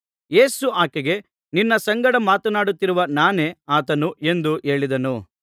ಯೇಸು ಆಕೆಗೆ ನಿನ್ನ ಸಂಗಡ ಮಾತನಾಡುತ್ತಿರುವ ನಾನೇ ಆತನು ಎಂದು ಹೇಳಿದನು